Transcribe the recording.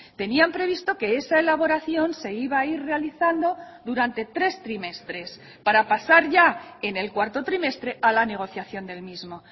tenían previsto que esa elaboración se iba a ir realizando durante tres trimestres para pasar ya en el cuarto trimestre a la negociación del mismo